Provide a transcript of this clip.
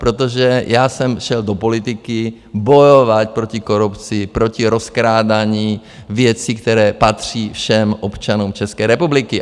Protože já jsem šel do politiky bojovat proti korupci, proti rozkrádání věcí, které patří všem občanům České republiky.